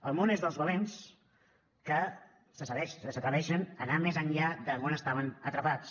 el món és dels valents que s’atreveixen a anar més enllà d’on estaven atrapats